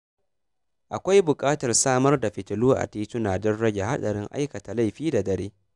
Akwai bukatar samar da fitilu a tituna don rage haɗarin aikata laifi da dare.